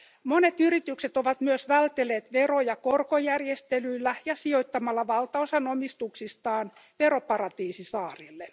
Monet yritykset ovat myös vältelleet veroja korkojärjestelyillä ja sijoittamalla valtaosan omistuksistaan veroparatiisisaarille.